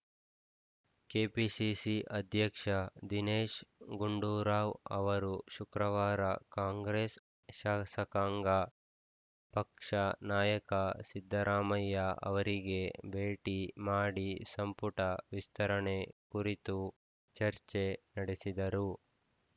KPCC ಅಧ್ಯಕ್ಷ ದಿನೇಶ್‌ ಗುಂಡೂರಾವ್‌ ಅವರು ಶುಕ್ರವಾರ ಕಾಂಗ್ರೆಸ್‌ ಶಾಸಕಾಂಗ ಪಕ್ಷ ನಾಯಕ ಸಿದ್ದರಾಮಯ್ಯ ಅವರಿಗೆ ಭೇಟಿ ಮಾಡಿ ಸಂಪುಟ ವಿಸ್ತರಣೆ ಕುರಿತು ಚರ್ಚೆ ನಡೆಸಿದರು